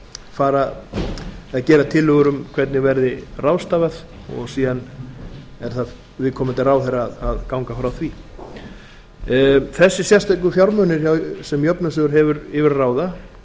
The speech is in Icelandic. fara að gera tillögur um hvernig verði ráðstafað og síðan er það viðkomandi ráðherra að ganga frá því þessir sérstöku fjármunir sem jöfnunarsjóður hefur yfir að ráða